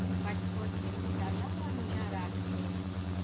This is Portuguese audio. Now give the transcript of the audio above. E faz de conta que a gente está lá no jará comendo.